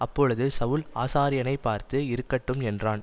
அப்பொழுது சவுல் ஆசாரியனைப் பார்த்து இருக்கட்டும் என்றான்